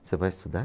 Você vai estudar?